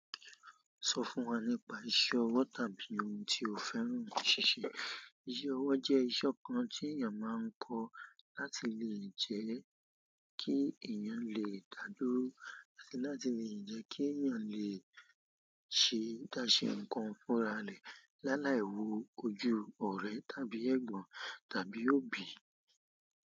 Sọ fún wa nípa iṣẹ́ ọwọ́ tàbí ohun tí o fẹ́ràn ní ṣíṣe. Iṣẹ́ ọwọ́ jẹ́ iṣẹ́ kan tí èèyàn máa ń kọ́ láti lè jẹ́ kí èèyàn lè dádúró láti lè jẹ́ kí èèyàn lè ṣe dáṣe nǹkan fúnra rẹ̀ láláì wo ojú ọ̀rẹ́ tàbí ẹ̀gbọ́n tàbí òbí.